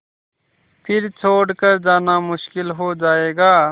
फिर छोड़ कर जाना मुश्किल हो जाएगा